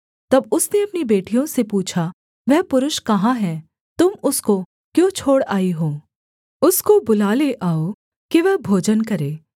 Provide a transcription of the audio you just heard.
तब उसने अपनी बेटियों से पूछा वह पुरुष कहाँ है तुम उसको क्यों छोड़ आई हो उसको बुला ले आओ कि वह भोजन करे